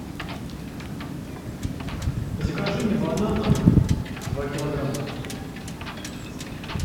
закажи мне бананов два килограмма